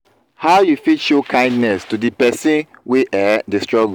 how you fit show kindness to di pesin wey um dey struggle?